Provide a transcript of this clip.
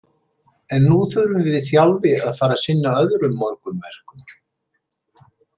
En nú þurfum við Þjálfi að fara og sinna öðrum morgunverkum.